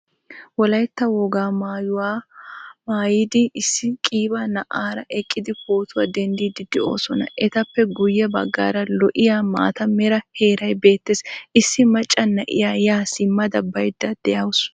Wolaytta wogaa maayuwaa maayiddi issi qiiba na"aara eqqidi pootuwaa denddidi de'osona. Ettappe guye baggaara lo"iyaa maataa meeraa heeraay beetees. Issi macca na"iyaa ya simmada baydda de'awusu.